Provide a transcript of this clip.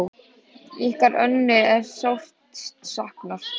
Ykkar Önnu er sárt saknað.